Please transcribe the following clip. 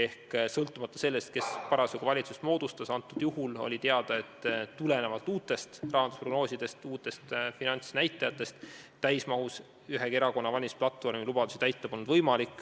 Aga sõltumata sellest, kes valitsust hakkas moodustama, oli teada, et tulenevalt uutest rahandusprognoosidest, uutest finantsnäitajatest täismahus ühegi erakonna valimisplatvormi lubadusi täita pole võimalik.